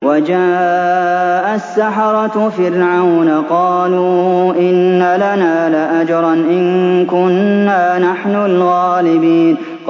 وَجَاءَ السَّحَرَةُ فِرْعَوْنَ قَالُوا إِنَّ لَنَا لَأَجْرًا إِن كُنَّا نَحْنُ الْغَالِبِينَ